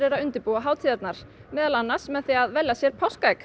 að undirbúa hátíðina meðal annars með því að versla sér páskaegg